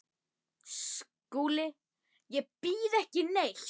SKÚLI: Ég býð ekki neitt.